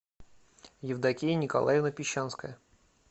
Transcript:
евдокия николаевна пещанская